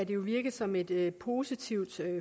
jo virke som et et positivt